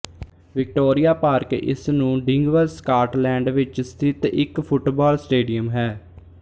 Victoria Park ਇਸ ਨੂੰ Dingwall Scotland ਵਿੱਚ ਸਥਿਤ ਇੱਕ ਫੁੱਟਬਾਲ ਸਟੇਡੀਅਮ ਹੈ